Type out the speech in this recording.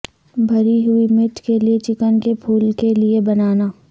بھری ہوئی مرچ کے لئے چکن کے پھول کے لئے بنانا